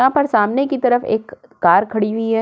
यहां पर सामने की तरफ एक कार खड़ी हुई है।